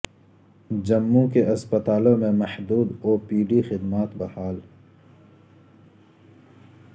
جموں کے اسپتالوں میں محدود او پی ڈی خدمات بحال